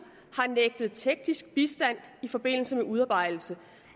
har nægtet teknisk bistand i forbindelse med udarbejdelse